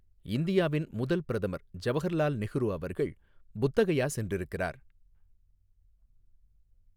இந்தியாவின் முதல் பிரதமர் ஜவஹர்லால் நெஹ்ரு அவர்கள் புத்த கயா சென்றிருக்கிறார்.